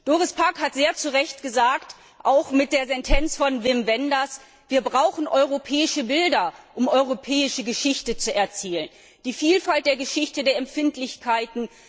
Doris Pack hat sehr zu Recht gesagt, auch mit der Sentenz von Wim Wenders Wir brauchen europäische Bilder, um europäische Geschichte zu erzählen, die Vielfalt der Geschichte, der Empfindlichkeiten.